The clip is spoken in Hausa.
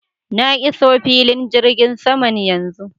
Na iso filin jirgin saman yanzu.